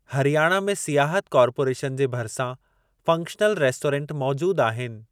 हरियाणा में सियाहत कार्पोरेशन जे भरिसां फ़ंक्शनल रेस्टोरंट मौजूद आहिनि।